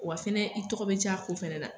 Wa fɛnɛ i tɔgɔ be ja ko fɛnɛ na